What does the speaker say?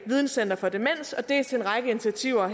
videncenter for demens dels en række initiativer